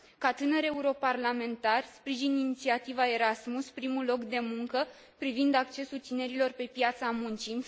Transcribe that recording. Ca tânăr europarlamentar, sprijin inițiativa Erasmus primul loc de muncă privind accesul tinerilor pe piața muncii.